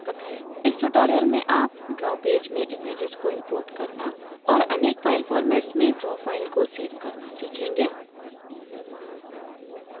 इस tutorial में आप draw पेज में images को import करना और अनेक फाइल formats में draw फाइल को सेव करना सीखेंगे